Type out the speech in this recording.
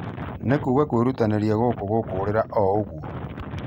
Nĩ kuga kwĩrutanĩria gũkũ gũkũrĩra o ũguo?